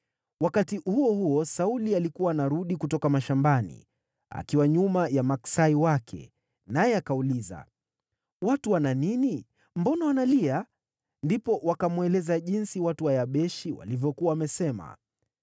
Wakati huo huo Sauli alikuwa anarudi kutoka mashambani, akiwa nyuma ya maksai wake, naye akauliza, “Watu wana nini? Mbona wanalia?” Ndipo wakamweleza jinsi watu wa Yabeshi walivyokuwa wamesema.